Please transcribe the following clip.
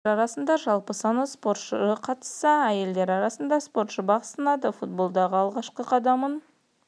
айта кетейік ерлер арасында жалпы саны спортшы қатысса әйелдер арасында спортшы бақ сынады футболдағы алғашқы қадамын